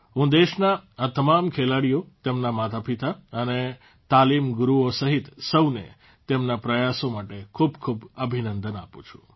હું દેશના આ તમામ ખેલાડીઓ તેમના માતાપિતા અને તાલીમ ગુરૂઓ સહિત સૌને તેમના પ્રયાસો માટે ખૂબખૂબ અભિનંદન આપું છું